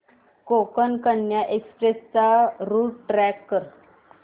Konkan Kanya express चा route track कर